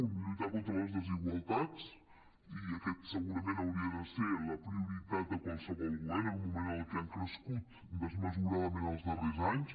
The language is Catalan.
una lluitar contra les desigualtats i aquesta segurament hauria de ser la prio·ritat de qualsevol govern en un moment en què han crescut desmesuradament els darrers anys